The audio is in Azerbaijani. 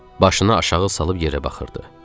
Başını aşağı salıb yerə baxırdı.